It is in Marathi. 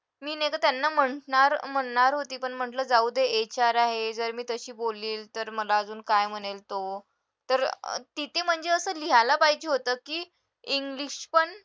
मी नाही तर त्यांना म्हंटणार म्हणणार होते पण म्हटलं जाऊ दे HR आहे जर मी तशी बोलली तर मला अजून काय म्हणेल तो तर अं तिथे म्हणजे असं लिहायला पाहिजे होतं कि english पण